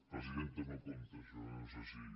pre·sidenta no compta això eh no sé si